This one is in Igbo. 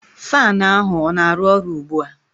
Faan ahu ọ na-aru ọru ugbua?